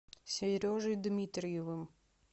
сережей дмитриевым